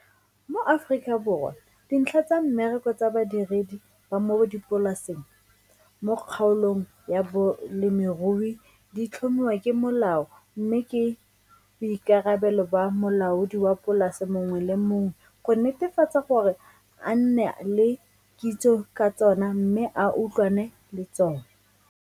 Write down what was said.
Mo Afrikaborwa dintlha tsa mmereko tsa badiredi ba mo dipolaseng mo kgaolong ya bolemirui di tlhomiwa ke molao mme ke boikarabelo ba molaodi wa polase mongwe le mongwe go netefatsa gore a nne le kitso tsa tsona mme a utlwane le tsona.